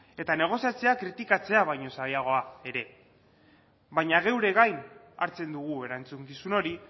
eta negoziatzea kritikatzea baino zailagoa ere baina geure gain hartzen dugu erantzukizun hori